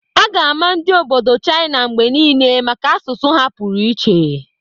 A ga-ama ndi obodo China mgbe niile maka asụsụ ha pụrụ iche.